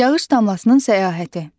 Yağış damlasının səyahəti.